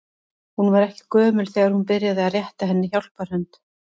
Hún var ekki gömul þegar hún byrjaði að rétta henni hjálparhönd.